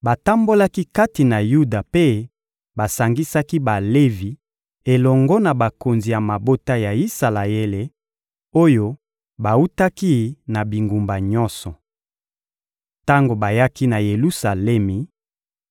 Batambolaki kati na Yuda mpe basangisaki Balevi elongo na bakonzi ya mabota ya Isalaele, oyo bawutaki na bingumba nyonso. Tango bayaki na Yelusalemi,